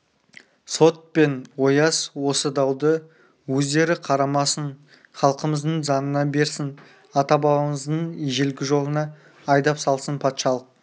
сот пен ояз осы дауды өздері қарамасын халқымыздың заңына берсін ата-бабамыздың ежелгі жолына айдап салсын патшалық